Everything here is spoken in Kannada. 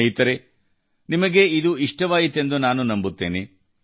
ಸ್ನೇಹಿತರೇ ನಿಮಗೆ ಇದು ಇಷ್ಟವಾಯಿತೆಂದು ನಾನು ನಂಬುತ್ತೇನೆ